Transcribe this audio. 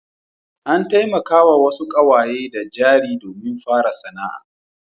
An taimakawa wasu ƙawaye da jari domin fara sana'a.